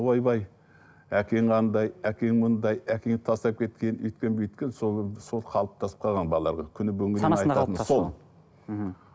ойбай әкең андай әкең мындай әкең тастап кеткен өйткен бүйткен сол сол қалыптасып қалған балаларда күні бүгінгі